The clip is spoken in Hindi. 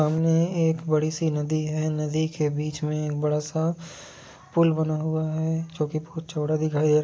सामने एक बड़ी सी नदी है नदी के बीच में एक बड़ा सा पुल बना हुआ है जो की बहुत ही चौड़ा दिख रही--